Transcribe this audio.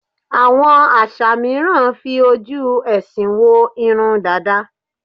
Àwọm àṣà mìíràn fi ojú ẹ̀sìn wo irun dàda.